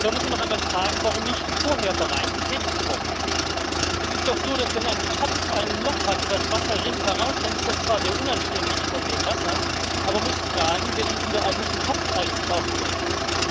Und da muss man doch einmal fragen, warum man nicht vorher bereits tätig geworden ist. Es ist doch so Wenn ein Topf ein Loch hat und das Wasser rinnt heraus, dann ist das zwar sehr unanständig von dem Wasser, aber man muss fragen, wer den ungeeigneten Topf eigentlich ausgewählt hat.